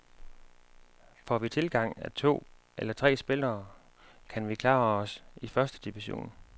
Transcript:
Får vi tilgang af to eller tre spillere, kan vi klare os i første division.